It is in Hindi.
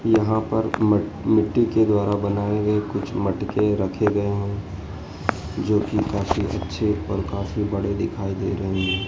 यहां पर म मिट्टी के द्वारा बनाए गए कुछ मटके रखे गए हैं जोकि काफी अच्छे और काफी बड़े दिखाई दे रहे हैं।